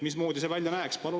Mismoodi see välja näeks?